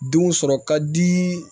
Denw sɔrɔ ka di